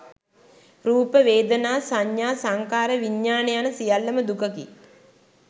රූප, වේදනා, සඤ්ඤා, සංඛාර, විඤ්ඤාණ යන සියල්ලම දුකකි.